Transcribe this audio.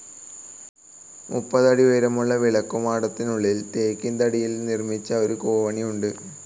മുപ്പതടി ഉയരമുള്ള വിളക്കുമാടത്തിനുള്ളിൽ ടീക്ക്‌ തടിയിൽ നിർമിച്ച ഒരു കോവണിയുണ്ട്.